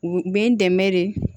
U bɛ n dɛmɛ de